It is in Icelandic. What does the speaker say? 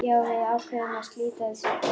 Já, við ákváðum að slíta þessu í kvöld.